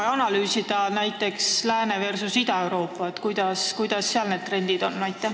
Ja kas sa võiksid võrrelda näiteks Lääne-Euroopat ja Ida-Euroopat, et millised need trendid seal on?